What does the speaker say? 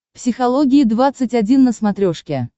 психология двадцать один на смотрешке